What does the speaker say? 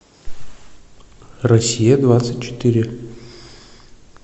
россия двадцать четыре